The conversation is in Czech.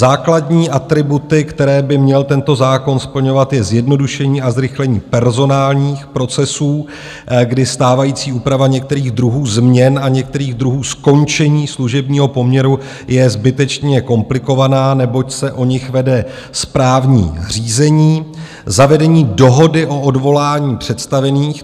Základní atributy, které by měl tento zákon splňovat, je zjednodušení a zrychlení personálních procesů, kdy stávající úprava některých druhů změn a některých druhů skončení služebního poměru je zbytečně komplikovaná, neboť se o nich vede správní řízení, zavedení dohody o odvolání představených.